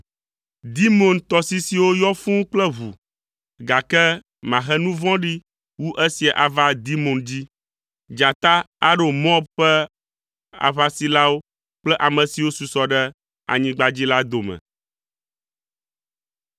Dimon tɔsisiwo yɔ fũu kple ʋu, gake mahe nu vɔ̃ɖi wu esia ava Dimon dzi. Dzata aɖo Moab ƒe aʋasilawo kple ame siwo susɔ ɖe anyigba dzi la dome.